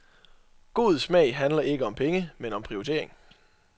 God smag handler ikke om penge, men om prioritering.